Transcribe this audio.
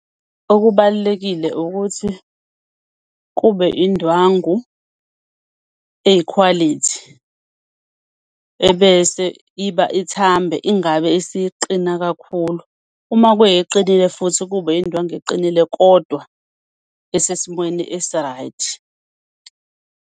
Okubalulekile ukuthi kube indwangu eyikhwalithi, ebese iba ithambe, ingabe isiqina kakhulu. Uma kuyeqinile futhi, kube indwangu eqinile kodwa esesimweni esi-right.